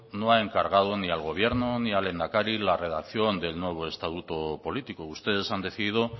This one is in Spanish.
no ha encargado ni al gobierno ni al lehendakari la redacción del nuevo estatuto político ustedes han decidido